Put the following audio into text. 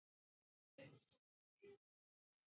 Hvernig hann hafði haldið framhjá mér.